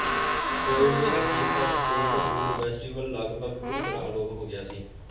quid ਦੇ ਅਖੀਰ ਤਕ ਕੋਲਡ ਫੂਡ ਫੈਸਟੀਵਲ ਲਗਭਗ ਪੂਰੀ ਤਰ੍ਹਾਂ ਅਲੋਪ ਹੋ ਗਿਆ ਸੀ